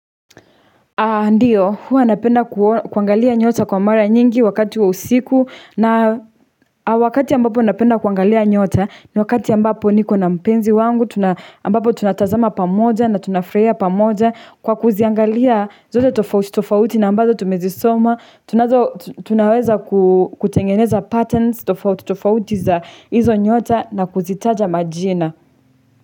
Ndiyo huwa napenda kuangalia nyota kwa mara nyingi wakati wa usiku na wakati ambapo napenda kuangalia nyota ni wakati ambapo niko na mpenzi wangu ambapo tunatazama pamoja na tunafurahia pamoja kwa kuziangalia zote tofauti na ambazo tumezi soma tunaweza kutengeneza patterns tofauti tofauti za hizo nyota na kuzitaja majina.